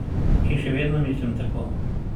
In še vedno mislim tako.